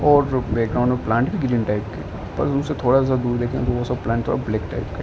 और जो बैकग्राउंड में प्लांट हैं ग्रीन टाइप के बस उससे थोड़ा-सा दूर देखे तो वो सब प्लांट हैं ब्लैक टाइप के।